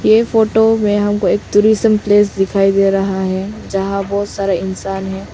ये फोटो में हमको एक टूरिज्म प्लेस दिखाई दे रहा है जहाँ बहोत सारा इंसान है।